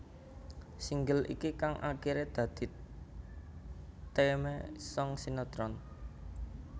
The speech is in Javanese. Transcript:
Single iki kang akiré dadi theme song sinetron